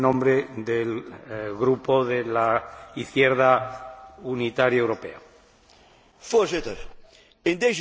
Voorzitter, in deze zittingsperiode waren met betrekking tot het collectief vervoer van personen twee vraagstukken aan de orde.